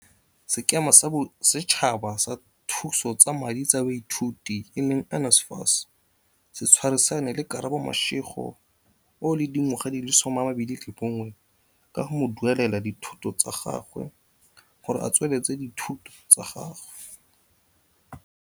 Sekema sa Bosetšhaba sa Thuso tsa Madi tsa Baithuti, NSFAS, se tshwarisane le Karabo Mashego, 21, ka go mo duelelela dithuto tsa gagwe gore a tsweletse dithuto tsa gagwe.